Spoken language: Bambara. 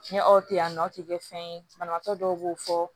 Ni aw tɛ yan nɔ ti kɛ fɛn ye banabaatɔ dɔw b'o fɔ